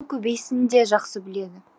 мұны көбейсін де жақсы біледі